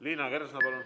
Liina Kersna, palun!